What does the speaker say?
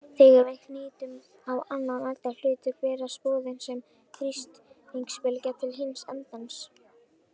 Þegar við ýtum á annan enda hlutar berast boðin sem þrýstingsbylgja til hins endans.